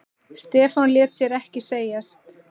Stefán lét sér ekki segjast.